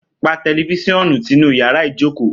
Pà tẹlifisionù tìnú yàrá ìjókò!